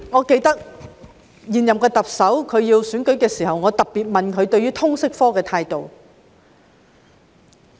記得在現任特首參選時，我曾特別問她對通識科的態度。